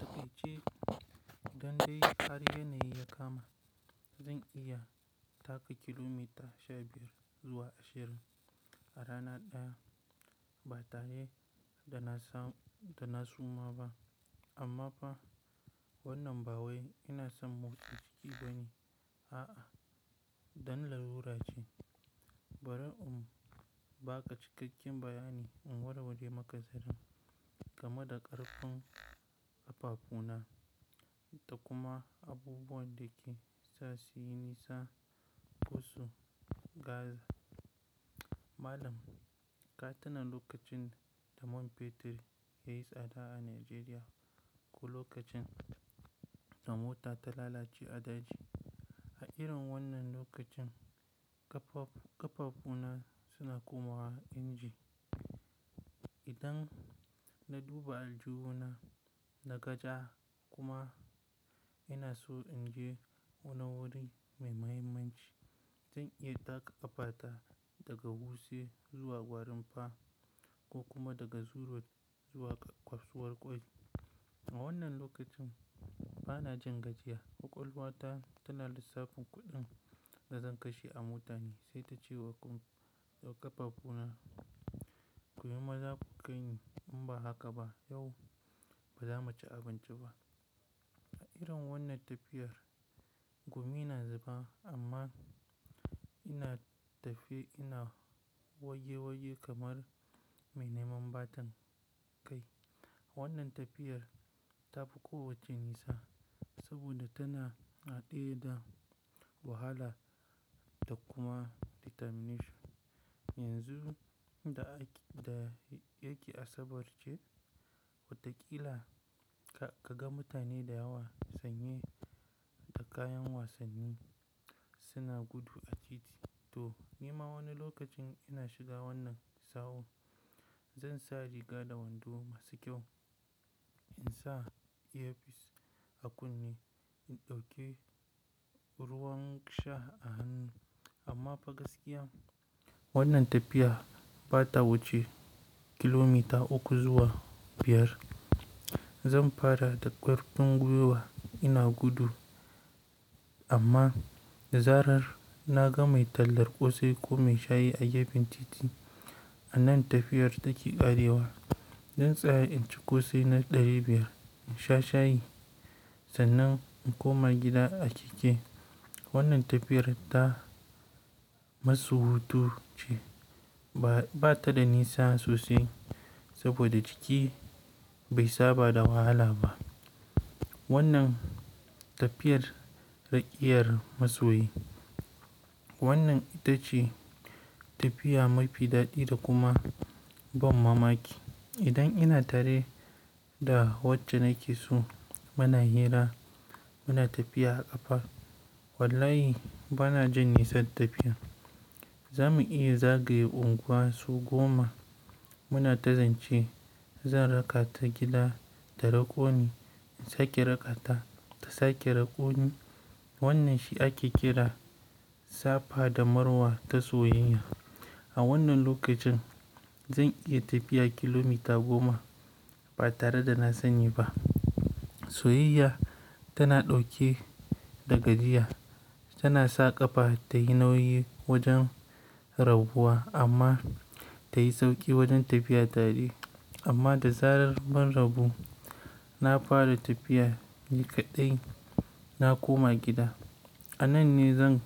Ake ce, dandai har yanayi ya kama. Zan iya taka kilomiter sha biyar zuwa ashirin a rana ɗaya ba tare da na sa da na suma ba. Amma fa wannan bawai ina son motsa jiki bane, a'a, dan larura ce Bara um, ba ka cikakken bayani in warware maka sirrin game da ƙarfin ƙafafu na da kuma abubuwan da ke sa su yi nisa, ƙo su gaza. Malam, ka tuna lokacin da man Petir ya yi tsada a Najeriya ko lokacin da mota ta lalace a daji. A irin wannan lokacin ƙafafu na suna komawa inji. Idan na duba aljihu na, naga ja kuma ina so in je wani wuri mai muhimmanci, zan iya taka ƙafa ta daga wuse zuwa gwarin fa ko kuma daga zuru road zuwa kwafsuwar ƙwai. A wannan lokacin bana jin gajiya, ƙwaƙwalwa ta tana lissafin kuɗin da zan kashe a mota ne sai ta ce wa ƙafafuna, "kuyo ma za ku kai ni in ba haka ba yau ba za mu ci abinci ba." A irin wannan tafiyar gumi na zuba amma ina tafe ina waje waje kamar mai neman batan kai. Wannan tafiyar ta fi kowacce nisa saboda tana haɗe da wahala da kuma determination. Yanzu da yake asabar ce, watakila ka ga mutane da yawa sanye da kayan wasanni suna gudu a titi. To, ni ma wani lokacin ina shiga wannan sawun. Zan sa riga da wando masu kyau, in sa ear piece a kunne in ɗauki ruwan sha a hannu. Amma fa gaskiya wannan tafiya ba ta wuce kilomiter uku zuwa biyar. Zan fara da ƙarfin gwiwa ina gudu amma da zarar na ga mai tallar ƙosai ko mai shayi a gefen titi, a nan tafiyar take ƙarewa. Zan tsaya in ci ƙosai na ɗari biyar, in sha shayi sannan in koma gida a keke. Wannan tafiyar ta masu hutu ce ba ta da nisa sosai saboda jiki bai saba da wahala ba. Wannan tafiyar raƙiyar masoyi. Wannan ita ce tafiya mafi daɗi da kuma ban mamaki. Idan ina tare da wacce nake so muna hira muna tafiya a ƙafa, wallahi bana jin nisan tafiya. Za mu iya zagaye unguwa sau goma muna ta zance. Zan raka ta gida da rako ni, in sake raka ta ta sake rako ni, wannan shi ake kira safa da marwa ta soyayya. A wannan lokacin zan iya tafiya kilomita goma ba tare da na sanyi ba. Soyayya tana ɗauke da gajiya, tana sa ƙafa tayi nauyi wajen rabuwa amma ta yi sauƙi wajen tafiya tare. Amma da zarar mun rabu, na fara tafiya ni kaɗai, na koma gida. A nan ne zan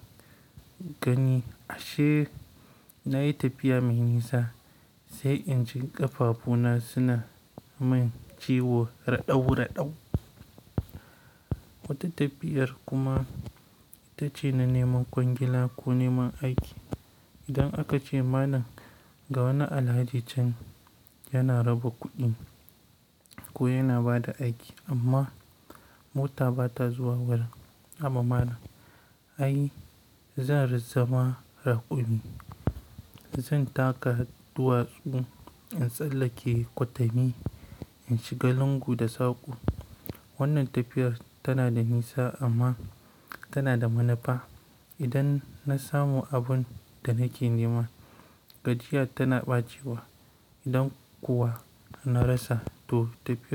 gani ashe na yi tafiya mai nisa sai inji ƙafafuna suna min ciwo raɗaw raɗaw. Wata tafiyar kuma ita ce na neman kwangila ko neman aiki. Idan aka ce malan ga wani Alhaji can yana raba kuɗi ko yana ba da aiki amma mota ba ta zuwa wurin. Haba malan, ai zan ri zama raƙumi. Zan taka duwatsu in tsallake kwatami, in shiga lungu da saƙo. Wannan tafiyar tana da nisa amma tana da manu fa. Idan na samu abun da nake nema, gajiya tana ɓacewa. Idan kuwa na rasa to tafiyar.